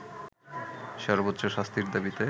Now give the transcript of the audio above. সবোর্চ্চ শাস্তির দাবিতে